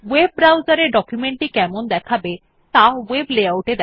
ওএব browser এ document টি কেমন দেখাবে ত়া ভেব Layout এ দেখা যায়